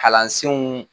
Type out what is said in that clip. Kalansenw